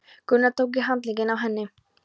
Gunnar tók í handlegginn á henni.